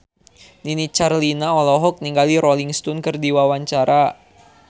Nini Carlina olohok ningali Rolling Stone keur diwawancara